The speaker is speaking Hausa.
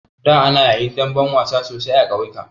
Da ana yin damben wasa sosai a ƙauyuka.